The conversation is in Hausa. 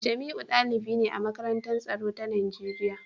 Jamiu dalibi ne a Makarantar Tsaro ta Najeriya